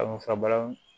A bɛ fura balan